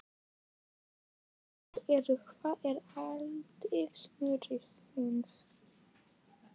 Fyrsta spurningin er: Hvað er atvik sumarsins?